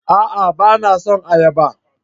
A'a! Ba na son ayaba.